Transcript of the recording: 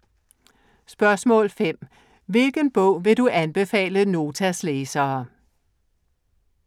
5) Hvilken bog vil du anbefale Notas læsere?